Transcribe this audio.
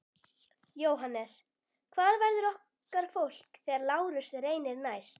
JÓHANNES: Hvar verður okkar fólk þegar Lárus reynir næst?